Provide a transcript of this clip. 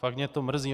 Fakt mě to mrzí.